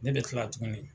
Ne bɛ kila tuguni